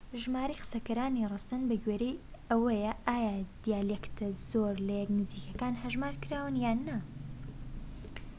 ژمارەی قسەکەرانی ڕەسەن بەگوێرەی ئەوەیە ئایا دیالێکتە زۆر لە یەک نزیکەکان هەژمار کراون یان نا